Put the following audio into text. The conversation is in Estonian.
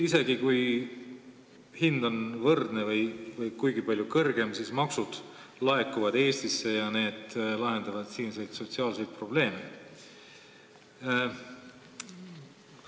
Isegi kui hind on võrdne või kuigi palju kõrgem, laekuvad maksud Eestisse, mis aitab lahendada siinseid sotsiaalseid probleeme.